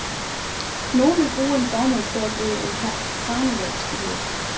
Nogen vil bruge en formue på at blive en karnevalsfigur.